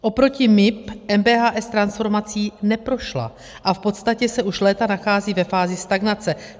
Oproti MIB MBHS transformací neprošla a v podstatě se už léta nachází ve fázi stagnace.